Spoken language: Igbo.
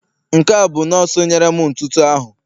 Nke a bụ nọọsụ nyere m ntụtụ ahụ